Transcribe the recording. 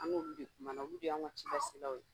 An n'olu de kumana olu de y'anw ka cilaselaw ye